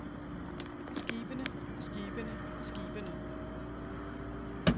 skibene skibene skibene